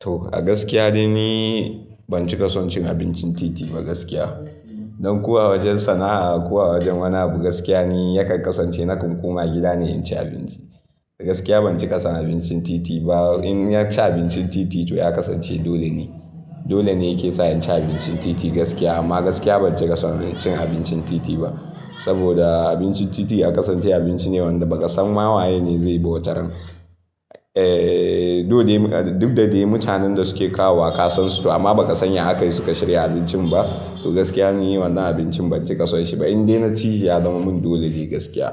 To, a gaskiya dai ni ban ci kasancin abincin titi ba gaskiya. Don kuwa wajen sana'a ko a wajen wani abu, gaskiya ne yakan kasance nakan koma gida ne in ci abinci. Gaskiya ban ci kasan abincin titi ba. In ya ci abincin titi, to ya kasance dole ne. Dole ne yake sa in ci abincin titi gaskiya. Amma gaskiya ban ci kasan cin abincin titi ba. Saboda abincin titi ya kasance abinci ne wanda bakasan ma waye ne zaiyi ba wataran Eh, dole duk da dai mutanen da suke kawo wa kasan su, amma ba ka san ya akai suka shirya abincin ba. To gaskiya ni wannan abincin ban ci ƙasan shi ba. In dai na ci, ya zama mun dole ne gaskiya.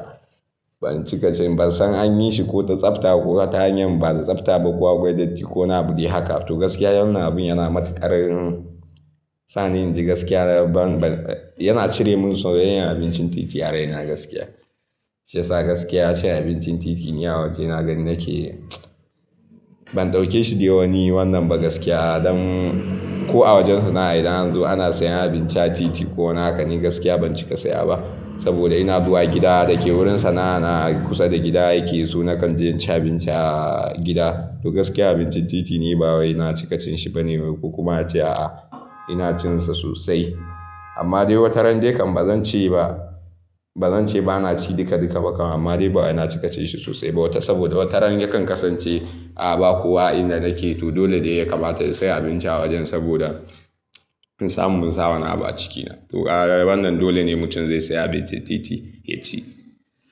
Ban ci kasan, ban san an yi shi ko da tsafta ko ta hanyar ba da tsafta ba, ko akwai datti ko wani abu dai haka. To gaskiya wannan abun yana matuƙar sa ni inji gaskiya. Ban, ban, yana cire mun soyayyan abincin titi a raina gaskiya. Shiyasa gaskiya cin abincin titi, ni a waje na gani nake ban ɗauke shi dai wani wannan ba gaskiya. Don ko a wajen sana'a idan yanzu ana sayan abinci a titi ko nakan yi, gaskiya ban ci ka ya ba. Saboda ina zuwa gida da ke wurin sana'a na kusa da gida yake so nakan je in ci abinci a gida. To gaskiya abincin titi ni ba wai na ci kacin shi ba ne, kuma a ce a'a ina cin sa sosai. Amma dai wataran dai kam ba zan ce ba, ba zan ce ba na ci duka duka ba kam. Amma dai ba wai na ci kacin shi sosai ba wata saboda wataran yakan kasance a ba kuwa a inda nake. To dole dai ya kamata in sayi abinci a wajen saboda in samu mun samu wani abu a cikina. To ƙara wannan dole ne mutum zai sayi abincin titi ya ci.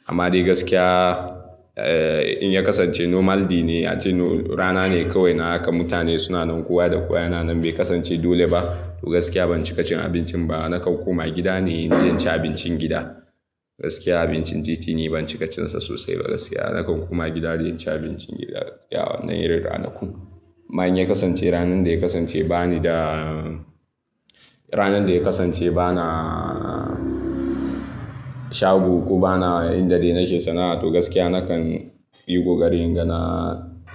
Amma dai gaskiya, eh, in ya kasance normality ne, ace rana ne kawai na haka. Mutane suna nan kuwa da kuwa yana nan bai kasance dole ba. To gaskiya ban ci ƙacin abincin ba. Nakan koma gida ne in je in ci abincin gida. Gaskiya abincin titi ni ban ci ƙacin sa sosai ba gaskiya. Nakan koma gida don in ci abincin gida na yanayin ranaku. Amma in ya kasance ranan da ya kasance ba ni da ranan da ya kasance ba na shago ko ba na inda dai nake sana'a. To gaskiya na kan yi ƙoƙarin inga na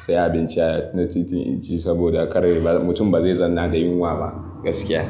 sayi abinci na titi in ci saboda kar mutum ba zai zanna da yunwa ba gaskiya.